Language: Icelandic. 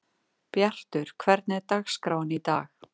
Bjartur, hvernig er dagskráin í dag?